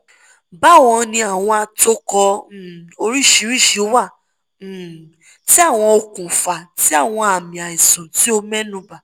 bawoni awọn atokọ um oriṣiriṣi wa um ti awọn okunfa ti awọn ami aisan ti o mẹnuba